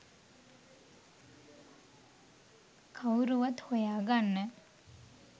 කවුරුවත් හොයා ගන්න